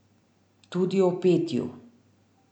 Tudi o petju.